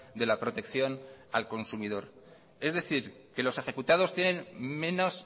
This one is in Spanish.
de la protección al consumidor es decir que los ejecutados tienen menos